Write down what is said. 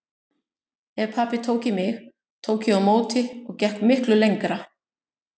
Ef pabbi tók í mig tók ég á móti og gekk miklu lengra.